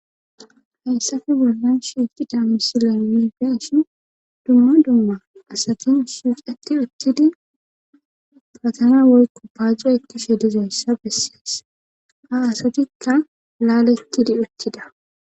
hayssafe bolnan shiiki da misi lanmibiashin dumma dumma asatin shuuxati uttidi patana woykko baacu ekkishe dizoyssa bessees ha asatikka laaletidi uttida